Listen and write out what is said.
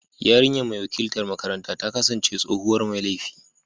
Yarinyar mai wakiltar makaranta ta kasance tsohuwar mai laifi.